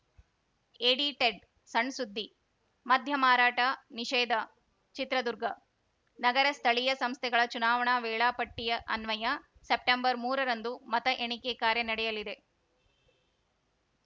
edited sun ಸುದ್ದಿ ಮದ್ಯ ಮಾರಾಟ ನಿಷೇಧ ಚಿತ್ರದುರ್ಗ ನಗರ ಸ್ಥಳೀಯ ಸಂಸ್ಥೆಗಳ ಚುನಾವಣಾ ವೇಳಾಪಟ್ಟಿಅನ್ವಯ ಸೆಪ್ಟೆಂಬರ್ ಮೂರರಂದು ಮತ ಎಣಿಕೆ ಕಾರ್ಯ ನಡೆಯಲಿದೆ